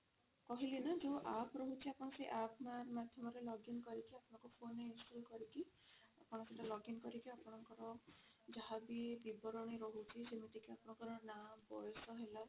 କହିଲି ନା ଯୋଊ app ରହୁଛି ଆପଣ ସେଇ app ମାଧ୍ୟମରେ login କରିକି ଆପଣଙ୍କ phone ରେ install କରିକି ଆପଣ ସେଟା login କରିକି ଆପଣଙ୍କର ଯାହା ବି ବିବରଣୀ ରହୁଛି ଯେମିତି କି ଆପଣଙ୍କର ନା ବୟସ ହେଲା